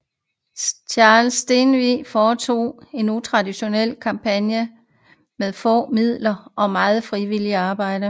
Charles Stenvig foretog en utraditionel kampagne med få midler og meget frivillingt arbejde